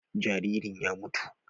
Jaririn ya mutu.